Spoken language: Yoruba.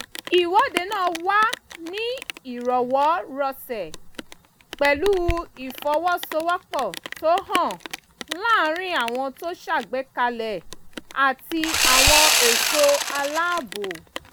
ìwọ́dé náà wà ní ìrọwọ́ rọsẹ̀ pẹ̀lú ìfọwọ́sowọ́pọ̀ tó hàn láàrin àwọn tó ṣàgbékalẹ̀ àti àwọn ẹ̀ṣọ́ aláàbò